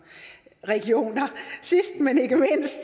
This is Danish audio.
sidst men ikke mindst